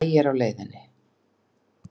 Maí er á leiðinni.